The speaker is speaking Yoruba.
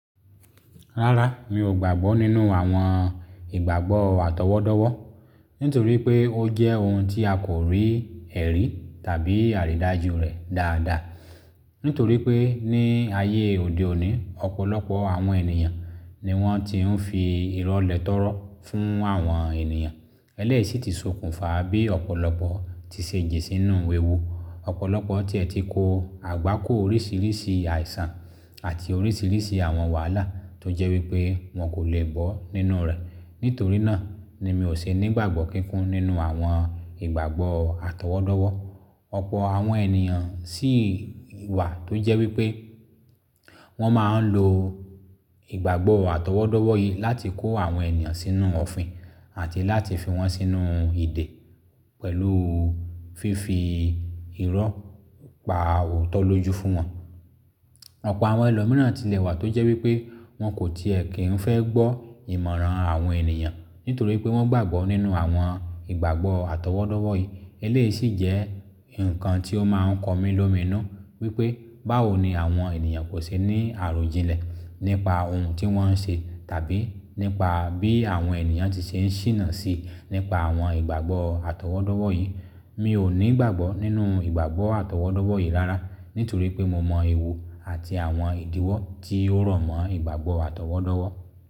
Rárá, mi ò gbàgbọ́ nínú àwọn ìgbàgbọ́ àtọwọ́dọ́wọ́ nítorí pé ó jẹ́ ohun tí a kò rí ẹ̀rí tàbí àrídájú rẹ̀ dáadáa. Nítorí pé ní ayé òde òní, ọ̀pọ̀lọpọ̀ àwọn ènìyàn ni wọ́n ti ń fi irọ́ lẹtọ́rọ́ fún àwọn ènìyàn. Eléyìí sì ti sokùnfa bí ọ̀pọ̀lọpọ̀ ti ṣe jí sínú wíwú. Ọ̀pọ̀lọpọ̀ ti ẹ̀ ti kó àgbákò oríṣìíríṣìí àìsàn àti oríṣìíríṣìí àwọn wàhálà tó jẹ́ wípé wọ́n kò lè gbọ́ nínú rẹ̀. Nítorí náà ni mi ò ṣe nígbàgbọ́ kíkún nínú àwọn ìgbàgbọ́ àtọwọ́dọ́wọ́. Ọ̀pọ̀ àwọn ènìyàn sì wà tó jẹ́ wípé wọ́n máa ń lo ìgbàgbọ́ àtọwọ́dọ́wọ́ yìí láti kó àwọn ènìyàn sínú òfin àti láti fi wọ́n sínú ìdè pẹ̀lú fífi irọ́ pa òótọ́ lójú fún wọn. Ọ̀pọ̀ àwọn ẹlòmíràn sì lẹ́wà tó jẹ́ wípé wọ́n kò tiẹ̀ kí ń fẹ́ gbọ́ ìmọ̀ràn àwọn ènìyàn nítorí pé wọ́n gbàgbọ́ nínú àwọn ìgbàgbọ́ àtọwọ́dọ́wọ́ yìí. Eléyìí sì jẹ́ ǹkan tí ó máa ń kọ mí lómìnu wípé báwo ni àwọn ènìyàn kò ṣe ní àròjinlẹ̀ nípa ohun tí wọ́n ń ṣe tàbí nípa bí àwọn ènìyàn ti ṣe ń ṣìnà sí nípa àwọn ìgbàgbọ́ àtọwọ́dọ́wọ́ yìí. Mi o ni ìgbàgbọ nínú ìgbàgbọ atowodowo yi rárá nítorípe mo mọ ewu ati awọn idiwọ ti o ro mo ìgbàgbọ atọwọdọwọ.